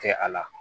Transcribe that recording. Kɛ a la